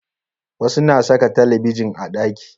Wasu na saka talabijin a ɗaki